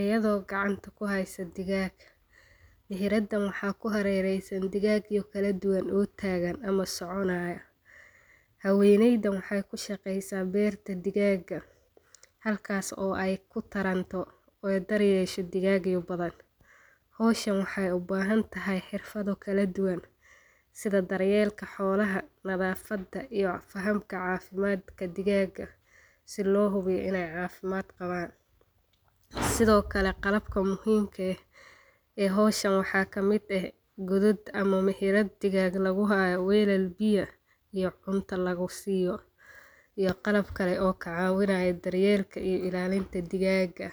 ayadoo gacanta ku hayso digaag. Meheradan maxaa ku hareeraysan? Digaag kala duwan oo taagan ama soconaya. Haweeneydan waxay ka shaqaysaa beerta digaagga halkaas oo ay ku taranto ayna daryeesho digaagga badan. Hawshan waxay u baahantahay xirfado kala duwan sida daryeelka xoolaha, nadaafadda iyo fahanka caafimaadka ee digaagga si loo hubiyo inay caafimaad qabaan. Sidoo kale qalabka muhiimka ah ee hawshan waxaa ka mid ah godaadka ama meheradda digaagga lagu hayo, weelal biyo iyo cunto lagu siiyo iyo qalab kale oo ka caawinayo daryeelka iyo ilaalinta digaagga.